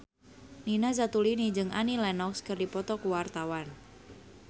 Nina Zatulini jeung Annie Lenox keur dipoto ku wartawan